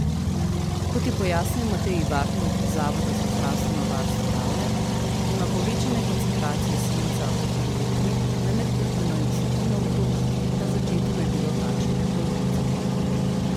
Kot je pojasnil Matej Ivartnik z Zavoda za zdravstveno varstvo Ravne, ima povečane koncentracije svinca v krvi otrok le med petino in desetino otrok, na začetku je bilo takšnih polovica.